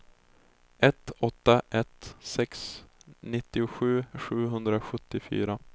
ett åtta ett sex nittiosju sjuhundrasjuttiofyra